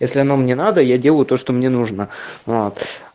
если она мне надо я делаю то что мне нужно вот